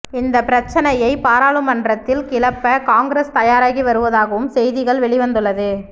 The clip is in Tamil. இந்த பிரச்சனையை பாராளுமன்றத்தில் கிளப்ப காங்கிரஸ் தயாராகி வருவதாகவும் செய்திகள் வெளிவந்துள்ளது